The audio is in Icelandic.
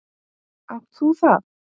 Átt þú það?